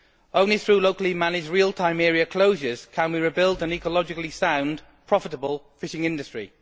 Only through locally managed real time area closures can we rebuild an ecologically sound, profitable fishing industry.